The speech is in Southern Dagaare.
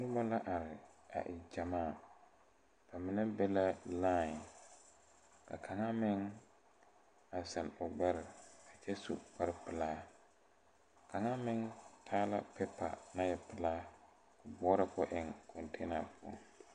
Nobɔ la are a e gyamaa ba mine be la lai ka kaŋa meŋ a zeŋ o gbɛre a kyɛ su kpare pelaa kaŋa meŋ taa la peepa naŋ e pelaa ko boɔrɔ ko eŋ kɔŋteena poɔ.